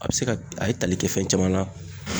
A be se ka a ye tali kɛ fɛn caman na